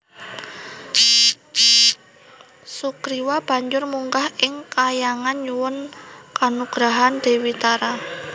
Sugriwa banjur munggah ing kahyangan nyuwun kanugrahan Dewi Tara